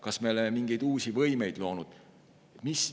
Kas me oleme mingeid uusi võimeid loonud?